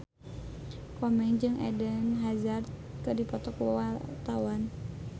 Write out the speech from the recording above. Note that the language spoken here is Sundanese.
Komeng jeung Eden Hazard keur dipoto ku wartawan